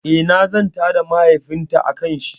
Eh, na zanta da mahaifin ta akan shi